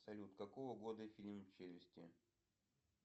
салют какого года фильм челюсти